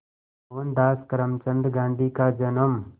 मोहनदास करमचंद गांधी का जन्म